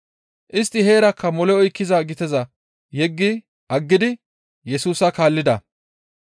Istti heerakka mole oykkiza giteza yeggi aggidi Yesusa kaallida.